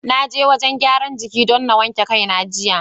Na je wajen gyaran jiki don na wanke kai na jiya.